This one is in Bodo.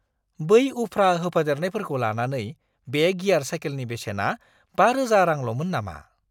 बै उफ्रा होफादेरनायफोरखौ लानानै बे गियार साइकेलनि बेसेना 5000 रांल'मोन नामा ?